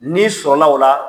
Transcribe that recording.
N'i sɔnna o la